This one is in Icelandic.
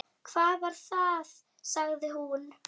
Hvað var það? sagði hún.